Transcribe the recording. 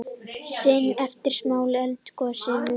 Sinna eftirmálum eldgossins